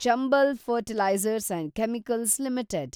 Chambal fertilisers and chemicals limited